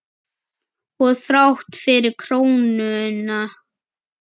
Og þrátt fyrir krónuna?